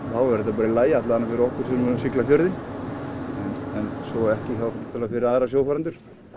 þá verður þetta bara í lagi alla vega fyrir okkur sem eru að sigla fjörðinn en svo ekki náttúrulega fyrir aðra sjófarendur